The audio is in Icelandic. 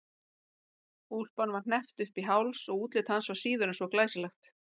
Úlpan var hneppt upp í háls og útlit hans var síður en svo glæsilegt.